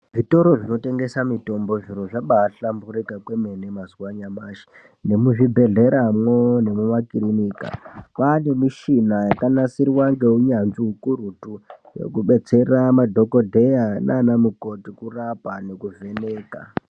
Zvitoro zvinotengesa mitombo zviro zvabaa hlamburuka kwemene mazuva anyamashi nemuzvibhedhlera mwoo nemumakirinika kwaane mishina yakanasirwa neunyanzvu ukurutu ngokubetsera madhokodheya naana mukhoti ngokurapa nekuvheneka.